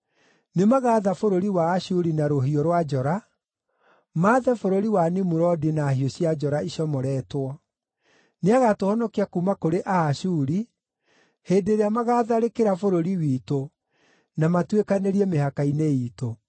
Nĩmagaatha bũrũri wa Ashuri na rũhiũ rwa njora; maathe bũrũri wa Nimurodi na hiũ cia njora icomoretwo. Nĩagatũhonokia kuuma kũrĩ Aashuri hĩndĩ ĩrĩa magaatharĩkĩra bũrũri witũ na matuĩkanĩirie mĩhaka-inĩ iitũ.